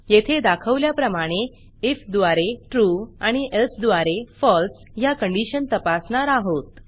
येथे दाखवल्याप्रमाणे आयएफ द्वारे trueट्रू आणि elseएल्स द्वारे falseफॉल्स ह्या कंडिशन तपासणार आहोत